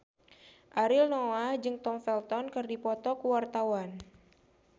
Ariel Noah jeung Tom Felton keur dipoto ku wartawan